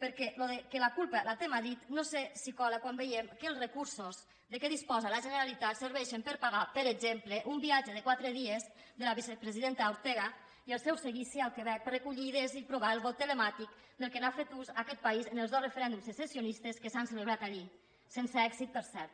perquè allò de la culpa la té madrid no sé si cola quan veiem que els recursos de què disposa la generalitat serveixen per pagar per exemple un viatge de quatre dies de la vicepresidenta ortega i el seu seguici al quebec per recollir idees i provar el vot telemàtic del qual ha fet ús aquest país en els dos referèndums secessionistes que s’han celebrat allí sense èxit per cert